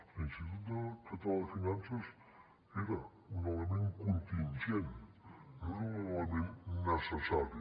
l’institut català de finances era un element contingent no era l’element necessari